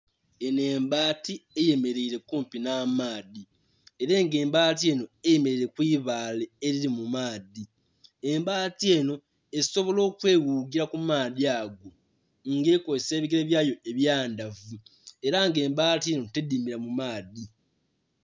Enho embaati eyemeleile kumpi nh'amaadhi. Ela nga embaati enho eyemeleile ku ibaale elili mu maadhi. Embaati enho esobola okweghugila ku maadhi ago, nga ekozesa ebigele byayo ebyandhavu Ela nga embaati enho tedhimila mu maadhi.